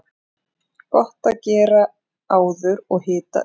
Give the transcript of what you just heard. Gott að gera áður og hita upp.